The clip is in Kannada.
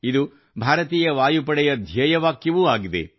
ಇದು ಭಾರತೀಯ ವಾಯುಪಡೆಯ ಧ್ಯೇಯವಾಕ್ಯವೂ ಆಗಿದೆ